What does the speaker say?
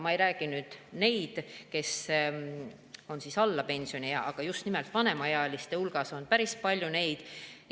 Ma ei räägi nüüd nendest, kes on alla pensioniea, aga just nimelt vanemaealiste hulgas on päris palju neid.